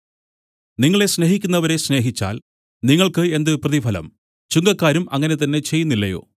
നിങ്ങളെ സ്നേഹിക്കുന്നവരെ സ്നേഹിച്ചാൽ നിങ്ങൾക്ക് എന്ത് പ്രതിഫലം ചുങ്കക്കാരും അങ്ങനെ തന്നെ ചെയ്യുന്നില്ലയോ